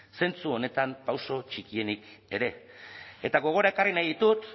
zentzu honetan pauso txikienik ere eta gogora ekarri nahi ditut